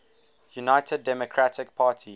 united democratic party